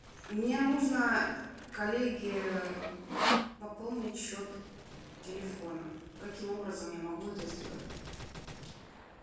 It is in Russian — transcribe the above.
мне нужно коллеге пополнить счет телефона каким образом я могу это сделать